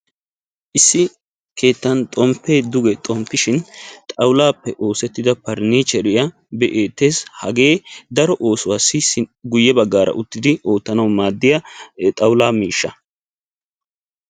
Issi keettan xoomppe dugge xompishshin xaawulappe oosettidda parinchcheriya be'ettes. Hagee daro oosuwassi guye baggara uttiddi oottanawu maadiyaa xaawulla miishsha.